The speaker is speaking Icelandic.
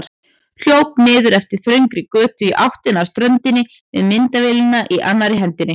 Hljóp niður eftir þröngri götu í áttina að ströndinni með myndavélina í annarri hendinni.